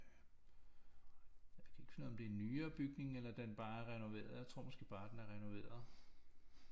Jeg kan ikke finde ud af om det er en nyere bygning eller den bare er renoveret jeg tror måske bare den er renoveret